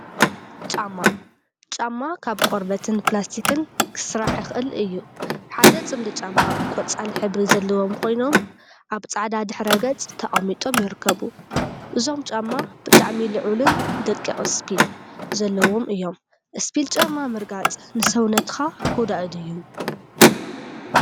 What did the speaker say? ጫማ ጫማ ካብ ቆርበትን ፕላስቲክን ክስራሕ ይክእል እዩ፡፡ ሓደ ፅምዲ ጫማ ቆፃል ሕብሪ ዘለዎም ኮይኖም፤ አብ ፃዕዳ ድሕረ ገፅ ተቀሚጦም ይርከቡ፡፡ እዞም ጫማ ብጣዕሚ ልዑልን ደቂቅ እስፒል ዘለዎም እዮም፡፡ እስፒል ጫማ ምርጋፅ ንሰውነትካ ጎዳኢ ድዩ?